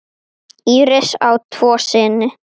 Íris á tvo syni.